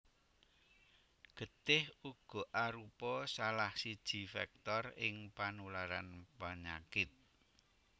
Getih uga arupa salah siji vektor ing panularan penyakit